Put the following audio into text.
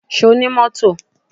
Ṣo ní mọ́tò?